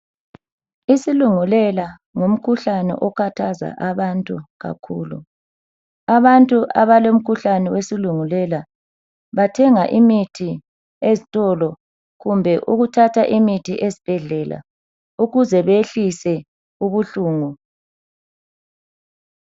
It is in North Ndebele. Isilungulela ngumkhuhlane okhathaza abantu kakhulu. Abantu abalomkhuhlane wesilungulela bathenga imithi ezitolo kumbe ukuthatha imithi esibhedlela ukuze beyehlise ubuhlungu.